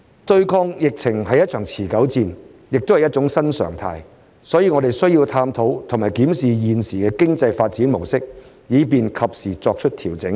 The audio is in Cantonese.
對抗疫情是一場持久戰，也是一種新常態，所以我們需要探討和檢視現時的經濟發展模式，以便及時作出調整。